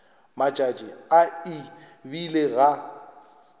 matšatši a e bile ga